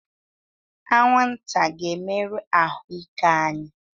Anwụnta ga-emerụ ahụ ike anyị